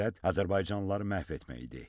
Məqsəd azərbaycanlıları məhv etmək idi.